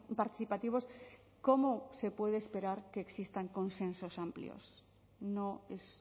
participativos cómo se puede esperar que existan consensos amplios no es